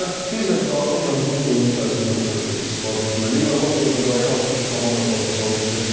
Yəni biz də daha çox yəni bu oyun tərzi məncə istifadə etməliyik və Latviyada qarşı hansı ki, komanda potensialı bizdən zəif idi.